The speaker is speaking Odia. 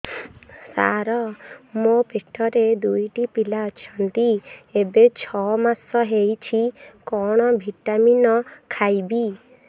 ସାର ମୋର ପେଟରେ ଦୁଇଟି ପିଲା ଅଛନ୍ତି ଏବେ ଛଅ ମାସ ହେଇଛି କଣ ଭିଟାମିନ ଖାଇବି